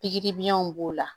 Pikiri biɲɛw b'o la